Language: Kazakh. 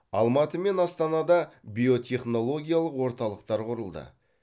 алматы мен астанада биотехнологиялық орталықтар құрылды